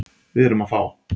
Við erum fá.